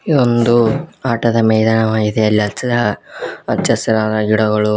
ಇಲ್ಲಿ ಒಂದು ಆಟದ ಮೈದಾನವಾಗಿದೆ ಅಲ್ಲಿ ಹಚ್ಚ ಹಚ್ಚ ಹಸಿರಾದ ಗಿಡಗಳು--